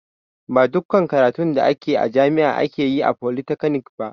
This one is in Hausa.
Ba duƙƙan karatun da ake a jami'a ake yi a folytekni ba